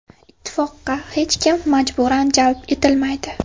Ittifoqqa hech kim majburan jalb etilmaydi.